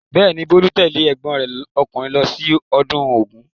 Bẹ́ẹ̀ ni, Bolu's tẹ́lẹ̀ ẹ̀gbọ́n rẹ̀ ọkùnrin lọ sí ọdún Ògún.